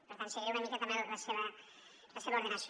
per tant seguiré una mica també la seva ordenació